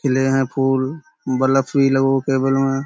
खिले हैं फूल। बलफ भी लगो केबल में।